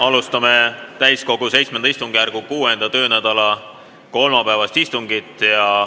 Alustame täiskogu VII istungjärgu 6. töönädala kolmapäevast istungit.